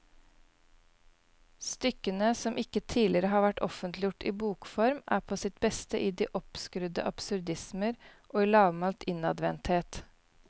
Stykkene, som ikke tidligere har vært offentliggjort i bokform, er på sitt beste i de oppskrudde absurdismer og i lavmælt innadvendthet.